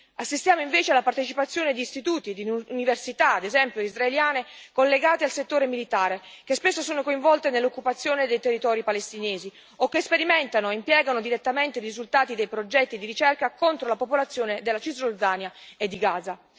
Assistiamo invece alla partecipazione di istituti e di università, ad esempio israeliane, collegate al settore militare, che spesso sono coinvolte nell'occupazione dei territori palestinesi o che sperimentano e impiegano direttamente i risultati dei progetti di ricerca contro la popolazione della Cisgiordania e di Gaza.